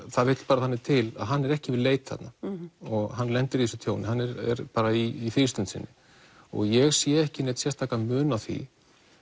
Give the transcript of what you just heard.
það vill bara þannig til að hann er ekki við leit þarna hann lendir í þessu tjóni hann er bara í frístund sinni og ég sé ekki neinn sérstakan mun á því